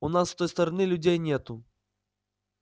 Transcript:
у нас с той стороны людей нету